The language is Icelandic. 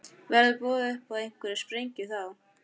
Verður boðið upp á einhverja sprengju þá?